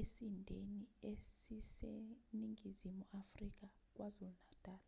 esindeni esiseningizimu afrika kwazulu-natal